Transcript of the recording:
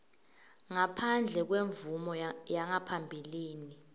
ngaphandle kwemvumo yangaphambilini